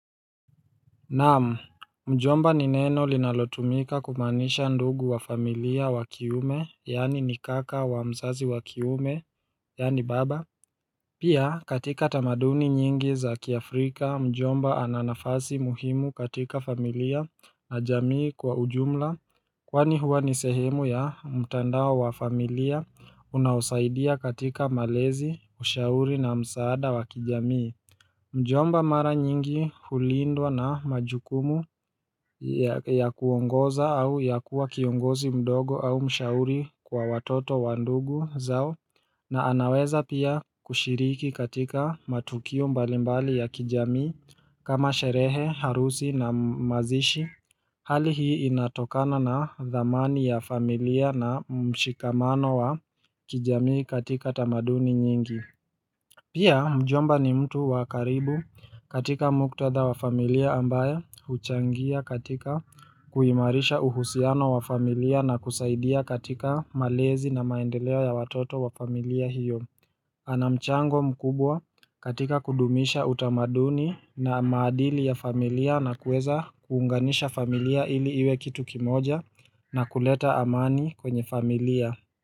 Naam, Mjomba ni neno linalotumika kumaanisha ndugu wa familia wa kiume yaani ni kaka wa msazi wa kiume yaani baba Pia katika tamaduni nyingi za kiafrika mjomba ana nafasi muhimu katika familia na jamii kwa ujumla Kwani huwa ni sehemu ya mtandao wa familia unaosaidia katika malezi ushauri na msaada wa kijamii Mjomba mara nyingi hulindwa na majukumu ya kuongoza au ya kuwa kiongozi mdogo au mshauri kwa watoto wa ndugu zao na anaweza pia kushiriki katika matukio mbalimbali ya kijamii kama sherehe, harusi na mazishi Hali hii inatokana na dhamani ya familia na mshikamano wa kijamii katika tamaduni nyingi Pia mjomba ni mtu wa karibu katika muktadha wa familia ambaye huchangia katika kuimarisha uhusiano wa familia na kusaidia katika malezi na maendeleo ya watoto wa familia hiyo ana mchango mkubwa katika kudumisha utamaduni na maadili ya familia na kueza kuunganisha familia ili iwe kitu kimoja na kuleta amani kwenye familia.